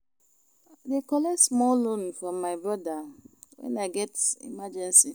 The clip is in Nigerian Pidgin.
I dey collect small loan from my broda wen I get emergency.